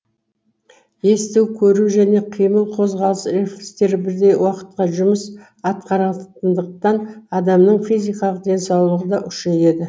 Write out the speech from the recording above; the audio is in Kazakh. есту көру және қимыл қозғалыс рефлекстері бірдей уақытқа жұмыс атқаратындықтан адамның физикалық денсаулығы да күшейеді